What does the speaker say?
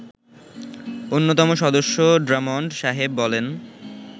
অন্যতম সদস্য ড্রামণ্ড সাহেব বলেন